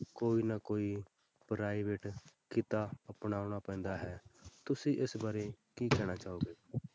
ਕੋਈ ਨਾ ਕੋਈ private ਕਿੱਤਾ ਅਪਣਾਉਣਾ ਪੈਂਦਾ ਹੈ, ਤੁਸੀਂ ਇਸ ਬਾਰੇ ਕੀ ਕਹਿਣਾ ਚਾਹੋਗੇ